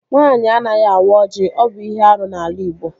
Nwaanyị anaghị awa ọjị. Ọ bụ ihe árú n'ala igbo